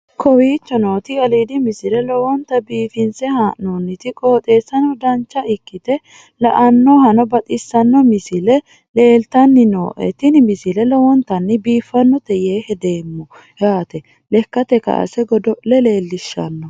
kowicho nooti aliidi misile lowonta biifinse haa'noonniti qooxeessano dancha ikkite la'annohano baxissanno misile leeltanni nooe ini misile lowonta biifffinnote yee hedeemmo yaate lekkate kaase godo'le leellishshanno